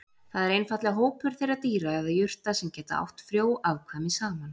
Það er einfaldlega hópur þeirra dýra eða jurta sem geta átt frjó afkvæmi saman.